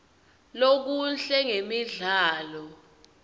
lokuhle ngemidlalo